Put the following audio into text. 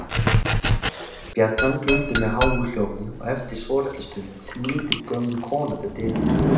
Bjallan glumdi með háu hljóði og eftir svolitla stund kom lítil, gömul kona til dyra.